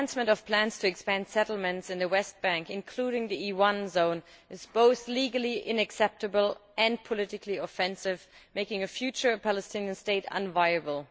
The advancement of plans to expand settlements in the West Bank, including the E1 zone, is both legally unacceptable and politically offensive, making a future Palestinian state unviable.